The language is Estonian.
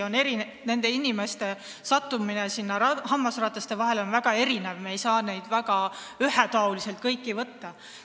Nende inimeste sattumisel sinna hammasrataste vahele on väga erinevad põhjused ja me ei saa neid kõiki ühetaoliselt võtta.